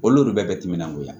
Olu bɛɛ bɛ timinandoya